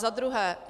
Za druhé.